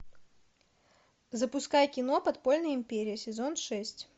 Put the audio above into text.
запускай кино подпольная империя сезон шесть